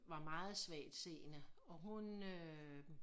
Var meget svagtseende og hun øh